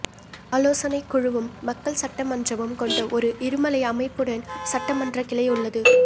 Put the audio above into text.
ஆலோசனைக் குழுவும் மக்கள் சட்டமன்றமும் கொண்ட ஒரு இருமலை அமைப்புடன் சட்டமன்ற கிளை உள்ளது